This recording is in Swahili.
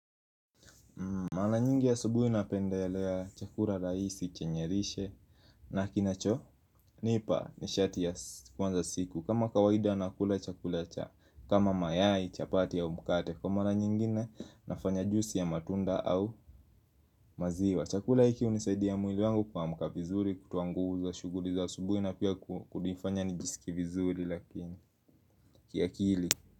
Mara nyingi asubuhi napendelea chakula rahisi chenye lishe. Na kinachonipa nishati ya kuanza siku. Kama kawaida nakula chakula cha kama mayai, chapati, au mkate. Kwa mara nyingine nafanya juisi ya matunda au maziwa. Chakula hiki hunisaidia mwili wangu kuamka vizuri, kutoa nguvu za shughuli za asubuhi, na pia kunifanya nijisikie vizuri lakini kiakili.